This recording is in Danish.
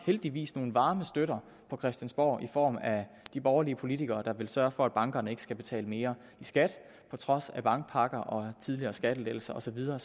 heldigvis nogle varme støtter på christiansborg i form af de borgerlige politikere der vil sørge for at bankerne ikke skal betale mere i skat på trods af bankpakker og tidligere skattelettelser og så videre